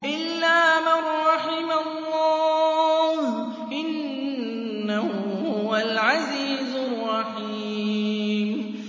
إِلَّا مَن رَّحِمَ اللَّهُ ۚ إِنَّهُ هُوَ الْعَزِيزُ الرَّحِيمُ